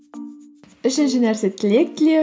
үшінші нәрсе тілек тілеу